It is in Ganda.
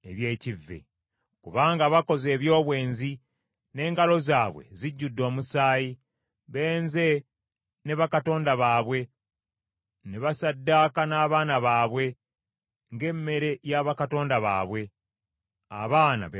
kubanga bakoze eby’obwenzi, n’engalo zaabwe zijjudde omusaayi. Benze ne bakatonda baabwe, ne basaddaaka n’abaana baabwe ng’emmere y’abakatonda baabwe, abaana be banzalira.